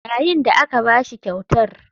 Yayin da aka ba shi kyautar.